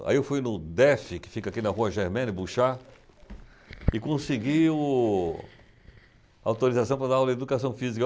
Aí eu fui no DEF, que fica aqui na Rua Germaine, Buxá, e consegui o... a autorização para dar aula de Educação Física.